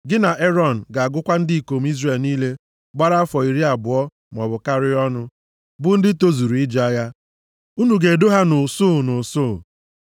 Gị na Erọn ga-agụkọta ndị ikom Izrel niile gbara iri afọ abụọ maọbụ karịa ọnụ, bụ ndị tozuru ije agha. Unu ga-edo ha nʼusuu, nʼusuu.